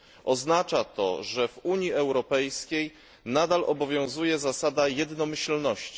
Oznacza to, że w Unii Europejskiej nadal obowiązuje zasada jednomyślności.